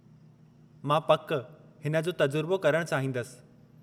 मां पक हिन जो तजुर्बो करणु चाहींदसि।